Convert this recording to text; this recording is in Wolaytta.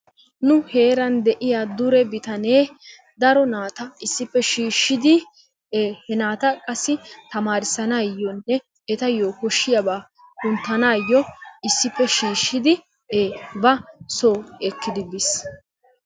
Nu heeran de'iya dure bitanee daro naata issippe shiishshidi he naata qassi tamaarissanaayyonne etayyo koshshiyaba kunttanaayyo iŝsippe shiishshidi ba soo ekkidi bis.